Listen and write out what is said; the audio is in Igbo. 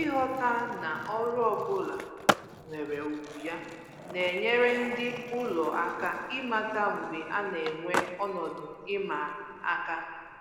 Ịghọta na ọrụ ọbụla nwere ugwu ya na-enyere ndị ụlọ aka ịmata mgbe a na-enwe ọnọdụ ịma aka